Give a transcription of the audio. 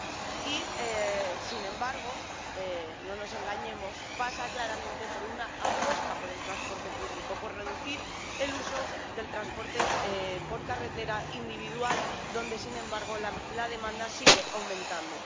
Y, sin embargo —no nos engañemos—, pasa claramente por una apuesta por el transporte público, por reducir el uso del transporte por carretera individual, donde, sin embargo, la demanda sigue aumentando.